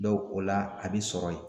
o la a bi sɔrɔ yen.